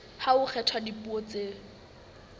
ha ho kgethwa dipuo tseo